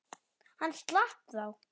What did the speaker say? Hann slapp þá.